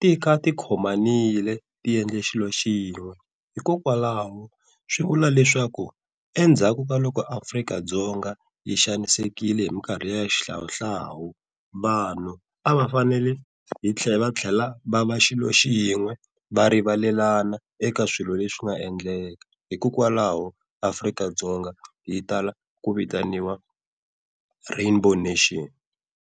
ti kha tikhomanile ti endla xilo xin'we. Hikokwalaho swi vula leswaku endzhaku ka loko Afrika-Dzonga yi xanisekile hi mikarhi liya ya xihlawuhlawu, vanhu a va fanele hi va tlhela va va xilo xin'we va rivalelana eka swilo leswi nga endleka hikokwalaho Afrika-Dzonga yi tala ku vitaniwa Rainbow Nation.